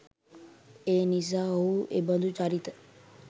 එනිසා ඔහු එබඳු චරිත